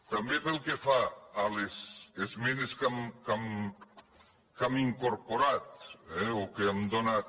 també pel que fa a les esmenes que hem incorporat o que hem donat